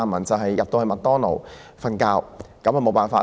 驟耳聽來，在麥當勞睡覺也不錯。